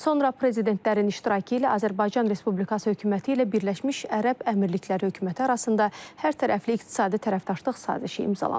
Sonra prezidentlərin iştirakı ilə Azərbaycan Respublikası hökuməti ilə Birləşmiş Ərəb Əmirlikləri hökuməti arasında hərtərəfli iqtisadi tərəfdaşlıq sazişi imzalanıb.